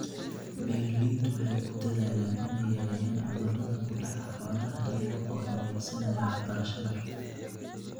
Beeraleydu waxay ku dadaalaan in ay yareeyaan cudurrada ku dhaca xoolaha iyaga oo adeegsanaya waxbarashada.